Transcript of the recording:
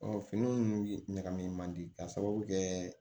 fini ninnu ɲagamin man di k'a sababu kɛ